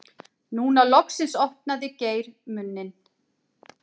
Núna loksins opnaði Geir munninn.